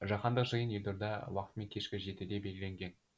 жаһандық жиын елорда уақытымен кешкі жетіге белгіленген